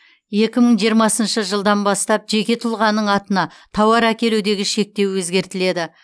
екі мың жиырмасыншы жылдан бастап жеке тұлғаның атына тауар әкелудегі шектеу өзгертіледі